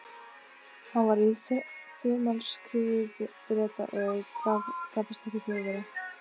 Hann var í þumalskrúfu Breta og gapastokki Þjóðverja.